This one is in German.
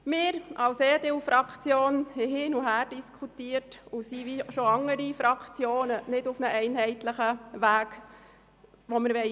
Wir als EDU-Fraktion haben hin uns her diskutiert und konnten uns wie schon andere Fraktionen nicht einigen.